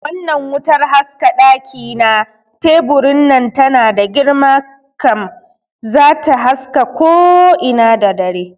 Wannnan wutar haska ɗaki na teburin nan tana da girma kam, zata haska ko ina da dare